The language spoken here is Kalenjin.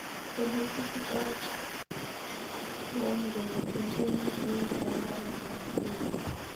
Ole kiitito trn kongeten konyun en barabaret ab thika